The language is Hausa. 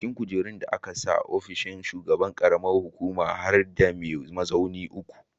A cikin kujerun da aka sa a ofishin shugaban ƙaramar hukuma har da mai mazaunin mutum uku.